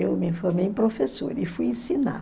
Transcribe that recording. Eu me formei em professora e fui ensinar.